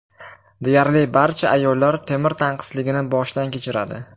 Deyarli barcha ayollar temir tanqisligini boshdan kechiradi.